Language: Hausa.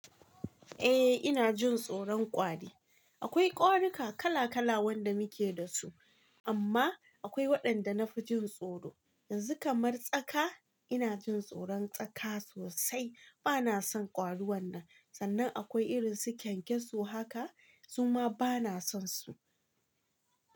Eh ina jin tsoro kwari. Akwai ƙwarika kala kala wanda muke da su amma akwai waɗanda na fi jin tsoro. Yanzu kamar tsaka ina jin tsoron tsaka sosai bana son ƙwarin nan sannan akwai irin su kyankyaso haka zuma bana son su.